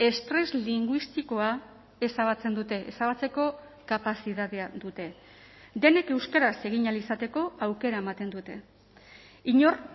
estres linguistikoa ezabatzen dute ezabatzeko kapazitatea dute denek euskaraz egin ahal izateko aukera ematen dute inor